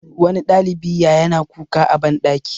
wani ɗalibi ya yana kuka a banɗaki